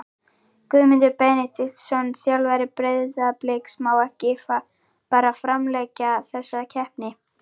Guðmundur Benediktsson, þjálfari Breiðabliks Má ekki bara framlengja þessa keppni?